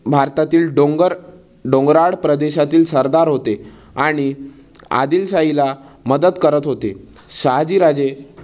भारतातील डोंगर डोंगराळ प्रदेशातील सरदार होते आणि आदिलशाहीला मदत करत होते. शहाजीराजे